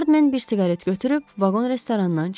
Hardmen bir siqaret götürüb vaqon restoranından çıxdı.